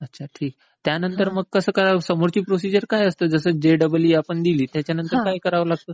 अच्छा मग समोरची प्रोसेस काय असते? म्हणजे आता आपण जे डबल ई दिली त्याच्या पुढची प्रोसेस काय असते?